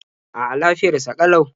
A'a, lafiyar sa ƙalau.